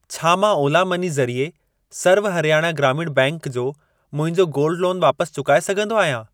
छा मां ओला मनी ज़रिए सर्व हरयाणा ग्रामीण बैंक जो मुंहिंजो गोल्ड लोन वापसि चुकाए सघंदो आहियां?